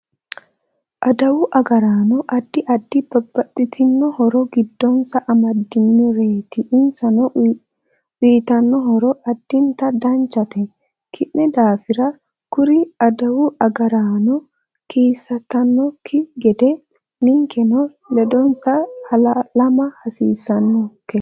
Aduwu agaraano addi addi babbaxitino horo giddonsa amadinireeti insa uyiitanno horo addinta danchate kinni daafira kkuri aduwu agaraano kisantanokki gede ninkeno ledonsa halamma hasiisanonke